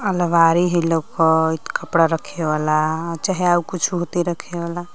अलमारी हई लउकत कपड़ा रखे वाला चाहे आउर कुछ होती रखे वाला।